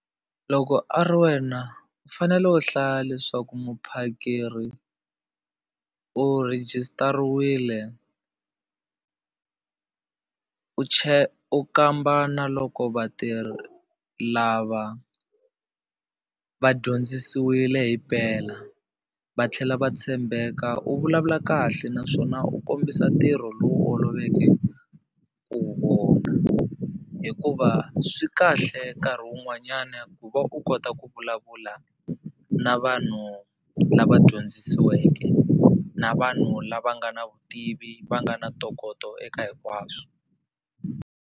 Loko a ri wena u fanele u hlaya leswaku muphakeri u rejistariwile u u kamba na loko vatirhi lava va dyondzisiwile hi mpela va tlhela va tshembeka u vulavula kahle naswona u kombisa ntirho lowu oloveke ku wu vona hikuva swi kahle nkarhi wun'wanyana ku va u kota ku vulavula na vanhu lava dyondzisiweke na vanhu lava nga na vutivi va nga na ntokoto eka hinkwaswo.